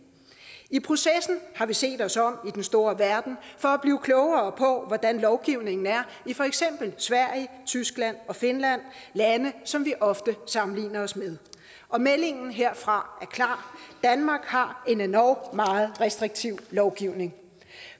i processen har vi set os om den store verden for at blive klogere på hvordan lovgivningen er i for eksempel sverige tyskland og finland lande som vi ofte sammenligner os med og meldingen herfra er klar danmark har en endog meget restriktiv lovgivning